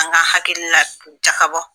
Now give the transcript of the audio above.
An ka hakilina jakabɔ